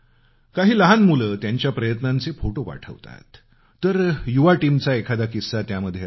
काही लहान मुलं त्यांच्या प्रयत्नांचे फोटो पाठवतात तर युवा वर्गाचा एखादा किस्सा त्यामध्ये असतो